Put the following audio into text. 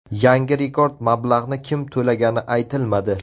Yangi rekord mablag‘ni kim to‘lagani aytilmadi.